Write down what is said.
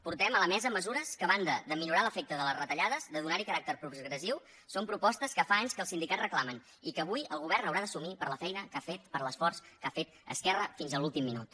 portem a la mesa mesures que a banda de minorar l’efecte de les retallades de donar hi caràcter progressiu són propostes que fa anys que els sindicats reclamen i que avui el govern haurà d’assumir per la feina que ha fet per l’esforç que ha fet esquerra fins a l’últim minut